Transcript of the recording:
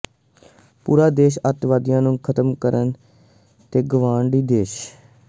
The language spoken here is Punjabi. ਪੂਰਾ ਦੇਸ਼ ਅਤਿਵਾਦੀਆਂ ਨੂੰ ਖਤਮ ਕਰਨ ਤੇ ਗੁਆਂਢੀ ਦੇਸ਼